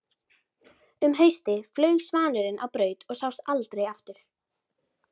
Um haustið flaug svanurinn á braut og sást aldrei aftur.